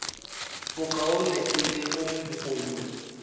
bokaone e le go mo